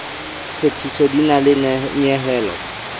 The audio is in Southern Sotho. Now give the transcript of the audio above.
phethiso di na le nyehelo